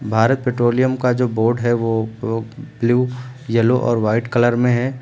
Bharat petroleum का जो board है वो ब ब्लू एलो और वाइट कलर में है।